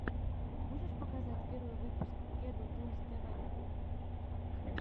можешь показать первый выпуск кеду тунс тв